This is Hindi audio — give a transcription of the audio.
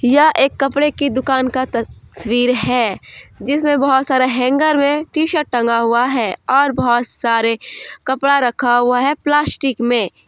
यह एक कपड़े की दुकान का तस्वीर है जिसमें बहुत सारा हैंगर में टी शर्ट टंगा हुआ है और बहुत सारे कपड़ा रखा हुआ है प्लास्टिक में।